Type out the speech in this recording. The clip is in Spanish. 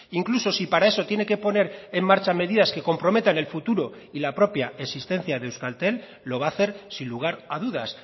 incluso si para eso tiene que poner en marcha medidas que comprometan el futuro y la propia existencia de euskaltel lo va a hacer sin lugar a dudas